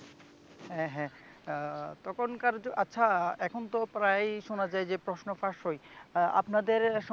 হ্যা হ্যা আহ তখনকার আচ্ছা এখনতো প্রায় শুনা যায় যে প্রশ্ন ফাঁস হয় আহ আপনাদের